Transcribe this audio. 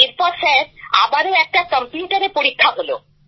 এরপর স্যার আবারও একটা কম্পিউটারে পরীক্ষা হলো